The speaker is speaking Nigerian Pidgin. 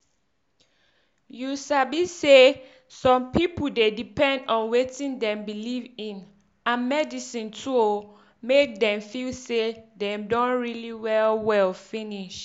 you sabi say some pipu dey depend on wetin dem believe in and medisin to oohh make dem feel say dem don really well well finish.